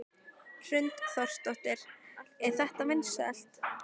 Hrund Þórsdóttir: Er þetta vinsælt?